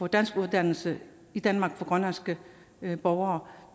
danskuddannelse i danmark for grønlandske borgere